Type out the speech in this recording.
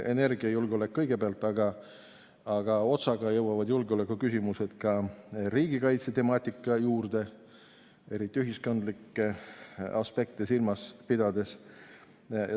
Energiajulgeolek kõigepealt, aga otsaga jõuavad julgeolekuküsimused ka riigikaitsetemaatika juurde, eriti ühiskondlikke aspekte silmas pidades.